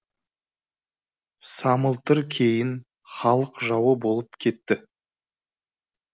самылтыр кейін халық жауы болып кетті